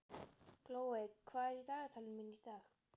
Glóey, hvað er í dagatalinu mínu í dag?